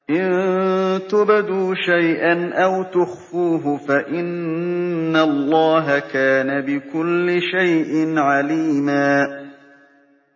إِن تُبْدُوا شَيْئًا أَوْ تُخْفُوهُ فَإِنَّ اللَّهَ كَانَ بِكُلِّ شَيْءٍ عَلِيمًا